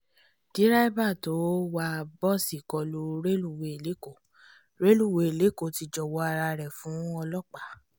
derébà tó wá bọ́ọ̀sì tó kọlu rélùwéè lẹ́kọ rélùwéè lẹ́kọ ti jọ̀wọ́ ara rẹ̀ fún ọlọ́pàá